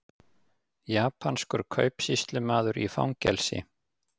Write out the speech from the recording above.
Japanskur kaupsýslumaður í fangelsi